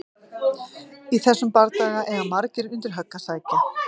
Í þessum bardaga eiga margir undir högg að sækja!